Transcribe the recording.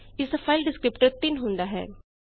ਇਸਦਾ file descriptor 3 ਹੁੰਦਾ ਹੈ